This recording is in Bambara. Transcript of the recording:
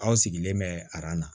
Aw sigilen bɛ a na